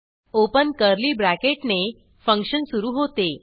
open curly bracket ने function सुरू होते